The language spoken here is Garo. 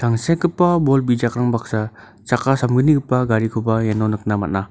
tangsekgipa bol bijakrang baksa chakka samgnigipa garikoba iano nikna man·a.